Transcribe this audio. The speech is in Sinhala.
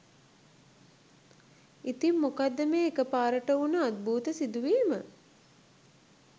ඉතින් මොකක්ද මේ එක පාරට වුන අද්භූත සිදුවීම.